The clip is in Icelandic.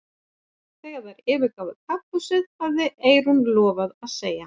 Þegar þær yfirgáfu kaffihúsið hafði Eyrún lofað að segja